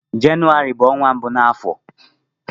Jenụwarị bu onwa mbụ n'afọ.